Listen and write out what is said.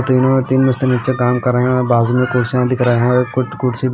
तीनों तीन मिस्त्री नीचे काम कर रहे हैं बाजू में कुर्सियां दिख रहा है और एक कु कुर्सी--